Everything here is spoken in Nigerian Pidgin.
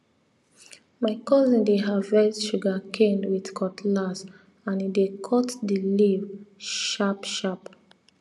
my cousin dey harvest sugarcane with cutlass and e dey cut the leaf sharpsharp